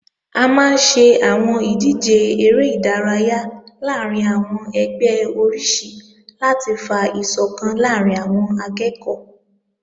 A máa ń ṣe àwọn ìdíje eré ìdárayá láàrín àwọn ẹgbẹ́ oríṣi láti fa ìsọ̀kan láàrín àwọn akẹ́ẹ̀kọ́